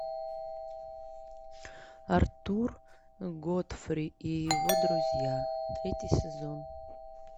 артур годфри и его друзья третий сезон